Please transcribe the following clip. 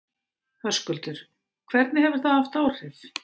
Höskuldur: Hvernig hefur það haft áhrif?